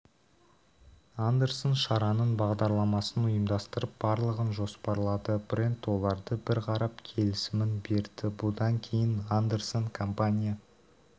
андерсон шараның бағдарламасын ұйымдастырып барлығын жоспарлады брэнд оларды бір қарап келісімін берді бұдан кейін андерсон компания